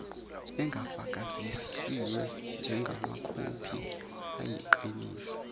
engafakazisiwe njengamakhophi ayiqiniso